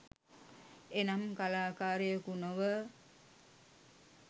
එනම් කලාකාරයකු නොව